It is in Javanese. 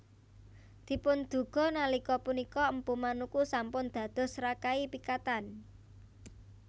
Dipunduga nalika punika Mpu Manuku sampun dados Rakai Pikatan